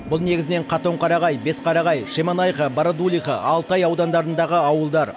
бұл негізінен қатонқарағай бесқарағай шемонаиха барадулиха алтай аудандарындағы ауылдар